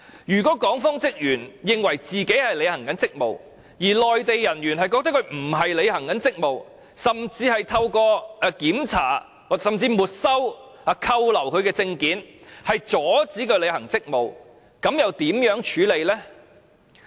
如果港方職員認為自己正在履行職務，而內地人員覺得他們並非在履行職務，甚至是透過檢查、沒收或扣留其證件，阻止他們履行職務，那又如何處理？